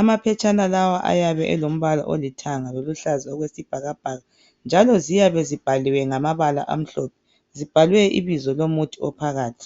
Amaphetshana lawa, ayabe elombala olithanga, loluhlaza okwesibhakabhaka, njalo ziyabe zibhaliwe ngamabala amhlophe. Zibhalwe ibizo lomuthi ophakathi.